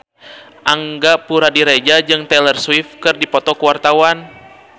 Angga Puradiredja jeung Taylor Swift keur dipoto ku wartawan